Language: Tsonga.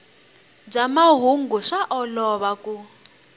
bya mahungu swa olova ku